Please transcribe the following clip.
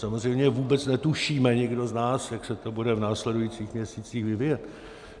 Samozřejmě vůbec netušíme, nikdo z nás, jak se to bude v následujících měsících vyvíjet.